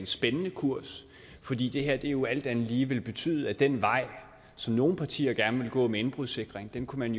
spændende kurs fordi det her jo alt andet lige vil betyde at den vej som nogle partier gerne vil gå med indbrudssikring kunne man